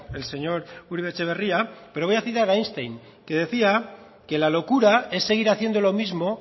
el señor uribe etxebarria pero voy a citar a einstein que decía que la locura es seguir haciendo lo mismo